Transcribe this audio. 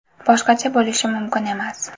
Boshqacha bo‘lishi mumkin emas!